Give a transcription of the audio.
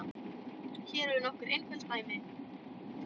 Hér eru nokkur einföld dæmi